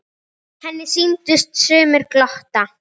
Henni sýndust sumir glotta.